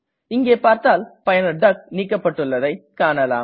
இங்கே பார்த்தால் பயனர் டக் நீக்கப்பட்டுள்ளதை காணலாம்